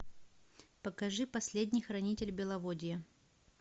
покажи последний хранитель беловодья